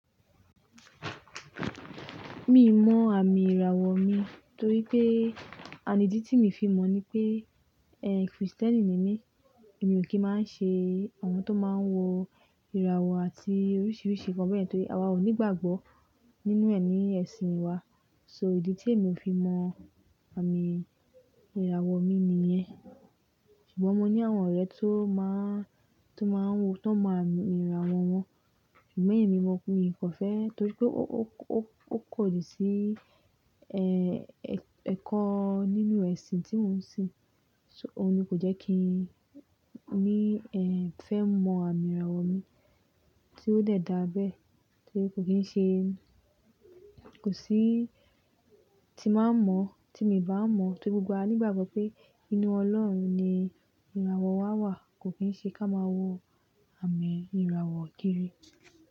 Mi ń mọ àmì ìràwọ̀ mi torí pé àní ídí tí mo fi mọ̀ ni pé, eh, Krìstẹ́nì ni mí. Èmi ò kí máa ń ṣe àwọn tó máa ń wo ìràwọ̀ àti oríṣiríṣi kan bẹ́ẹ̀ torí àwa ò ní ìgbàgbọ́ nínú ẹ̀ ní ẹ̀sìn wa. So ìdí tí èmi fi mọ àmì ìràwọ̀ mi nìyẹn. Ṣùgbọ́n mo ní àwọn ọ̀rẹ́ tó máa ń, tó máa ń wo, tó ń mọ ami ìràwọ̀ wọn. Ṣùgbọ́n emí na mi kọ̀fẹ́ torí pé ó, ó, ó, ó kò di sí, ẹ́ẹ́, ẹ̀kọ́ nínú ẹ̀sìn tí mò ń ṣe. So òun ni kò jẹ́ kí n ní, ẹ́ẹ́, fẹ́ mọ àmì ìràwọ̀ mi tí ó lè dá abẹ́. Torí kò kí ń ṣe, kò sí tí máa ń mọ̀, tí mi bá mọ̀ torí gbogbo wa nígbàgbọ́ pé inú Ọlọ́run ni ìràwọ̀ wa wà. Kò kí ń ṣe ká máa wo àmì ìràwọ̀ kiri.